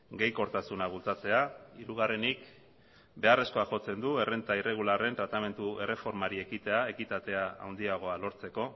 gehikortasuna bultzatzea hirugarrenik beharrezkoa jotzen du errenta irregularren tratamendu erreformari ekitea ekitatea handiagoa lortzeko